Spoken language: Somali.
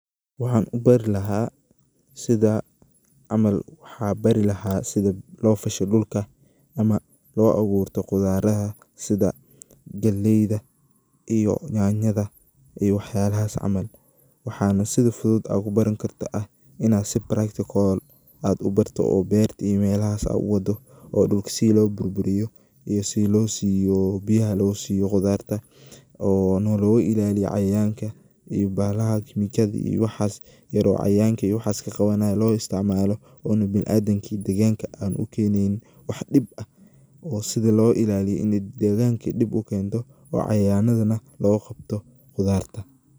waxan ubeeri laha sida camal, waxan bari laha sida loo fasho dhulka ama loo aburto qudaraha sida galeyda iyo nyaanyada iyo wax yalahas camal, waxana si fudud ad kubaran karta ah inad si practical ad ubarto oo berta iyo melahas ad uwaado oo dhulka sidi loo burburiyo iyo sidii loo siibo biyaha loo siiyo qudarta oo nologa ilaaliyo cayayanka iyo bahalaha quranjada iyo waxas yar oo cayayanka iyo waxas iska qabanayan loo isticmaalo ona bini adamka iyo deeganka an ukeneynin wax dhib ah oo sidi loga ilaliyo ini deeganka dhib ukento oo cayayanada nah loga qabto qudarta